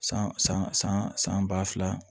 San san san ba fila